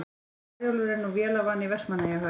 Herjólfur er nú vélarvana í Vestmannaeyjahöfn